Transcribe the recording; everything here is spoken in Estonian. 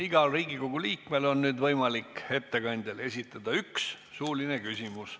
Igal Riigikogu liikmel on nüüd võimalik ettekandjale esitada üks suuline küsimus.